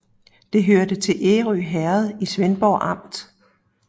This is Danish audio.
Det hørte til Ærø Herred i Svendborg Amt